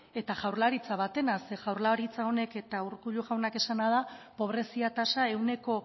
eta jaurlaritza batena zeren jaurlaritza honek eta urkullu jaunak esana da pobrezia tasa ehuneko